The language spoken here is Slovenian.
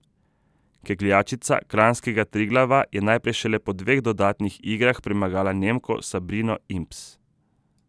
Kegljačica kranjskega Triglava je najprej šele po dveh dodatnih igrah premagala Nemko Sabrino Imbs.